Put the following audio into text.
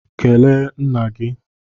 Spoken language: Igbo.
Kelee nna gị!